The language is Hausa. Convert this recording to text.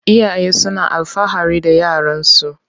Iyaye suna alfahari da yaran su.